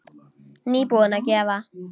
Nýbúin að gefa.